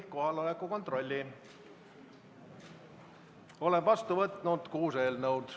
Olen vastu võtnud kuus eelnõu.